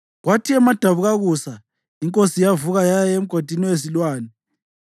Kwathi emadabukakusa inkosi yavuka yaya emgodini wezilwane.